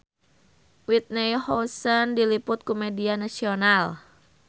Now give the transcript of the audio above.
Whitney Houston diliput ku media nasional